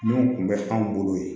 Minnu tun bɛ anw bolo yen